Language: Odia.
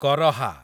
କରହା